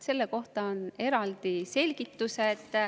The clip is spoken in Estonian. Selle kohta on eraldi selgitused.